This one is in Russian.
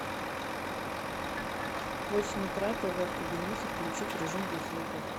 в восемь утра тв в кабинете включить режим без звука